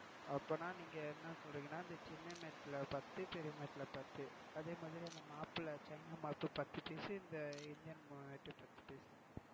அப்போனா நீங்க என சொல்றீங்கனா இந்த சின்ன mat ல பத்து, பெரிய mat ல பத்து, அதுமாதிரி இந்த mop ல China mop பத்து பீஸ் இந்த இந்தியன் mop ல பத்து பீஸ்.